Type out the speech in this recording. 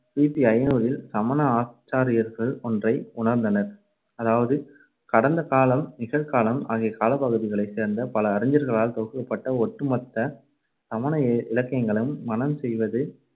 கி பி ஐநூறில் சமண ஆச்சாரியார்கள் ஒன்றை உணர்ந்தனர். அதாவது கடந்தகாலம், நிகழ்காலம் ஆகிய காலப்பகுதிகளைச் சேர்ந்த பல அறிஞர்களால் தொகுக்கப்பட்ட ஒட்டுமொத்த சமண இலக்கியங்களையும் மனம் செய்வது